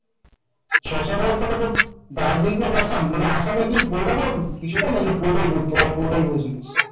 ছ সাত হাজার টাকয় তোর দার্জিলিং to আসাম আসামের কি পুরোটা ঘুরে ছিলিস কিছুটা নাকি পুরোটাই ঘুরেছিলে।